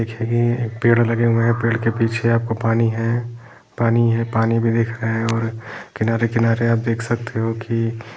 देखिए ये एक पेड़ लगे हुए है पेड़ के पीछे आपको पानी है पानी है पानी भी दिख रहे है और किनारे - किनारे आप देख सकते हो की--